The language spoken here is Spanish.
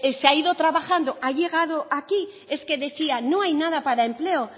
se ha ido trabajando ha llegado aquí es que decía no hay nada para empleo